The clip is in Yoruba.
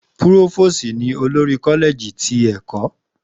Púrófóòòsì ni olórí Kọ́lẹ̀ẹ̀jì ti ẹ̀kọ́